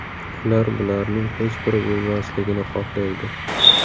Ular bularning hech biri bo‘lmasligini xohlaydi.